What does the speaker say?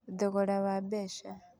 Thogora wa Mbeca: